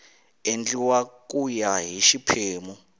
endliwa ku ya hi xiphemu